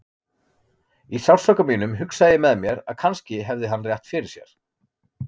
Í sársauka mínum hugsaði ég með mér að kannski hefði hann rétt fyrir sér.